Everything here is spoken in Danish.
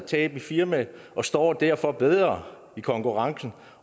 tab i firmaet og står derfor bedre i konkurrencen